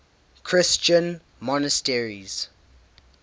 christian monasteries